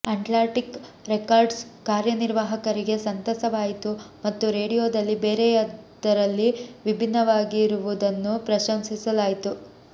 Atlantic Records ಕಾರ್ಯನಿರ್ವಾಹಕರಿಗೆ ಸಂತಸವಾಯಿತು ಮತ್ತು ರೇಡಿಯೋದಲ್ಲಿ ಬೇರೆಯದರಲ್ಲಿ ಭಿನ್ನವಾಗಿರುವುದನ್ನು ಪ್ರಶಂಸಿಸಲಾಯಿತು